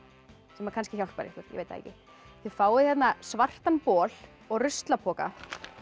sem kannski hjálpar ykkur ég veit það ekki þið fáið hérna svartan bol og ruslapoka